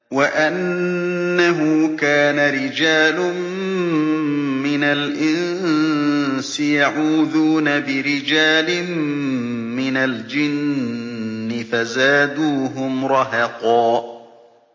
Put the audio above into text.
وَأَنَّهُ كَانَ رِجَالٌ مِّنَ الْإِنسِ يَعُوذُونَ بِرِجَالٍ مِّنَ الْجِنِّ فَزَادُوهُمْ رَهَقًا